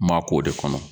Ma k'o de kɔnɔ